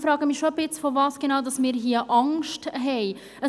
Ich frage mich schon ein wenig, wovor wir hier Angst haben.